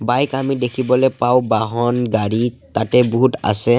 Bike আমি দেখিবলৈ পাওঁ বাহন গাড়ী তাতে বহুত আছে।